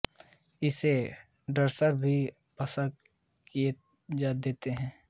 मैं इसे डसकर अभी भस्म किए देता हूं